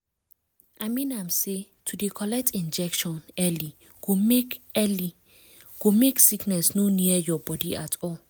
i mean am say to dey collect injection early go make early go make sickness no near your body at all